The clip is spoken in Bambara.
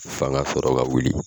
fanga sɔrɔ ka wuli.